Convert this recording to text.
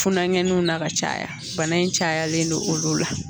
Funanŋɛninw na ka caya bana in cayalen no olu la.